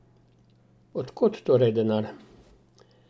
Od kod torej denar?